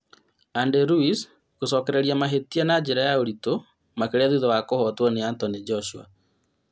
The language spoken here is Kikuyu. Andy Luiz gũcokereria mahĩtia na njĩra ya ũritũ makĩria thutha wa kũhotwo nĩ Anthony Joshua